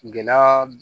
Gindaa